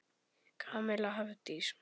Kamilla Hafdís.